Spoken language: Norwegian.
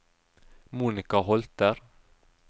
Monica Holter